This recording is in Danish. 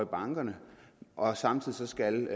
bankerne og samtidig skal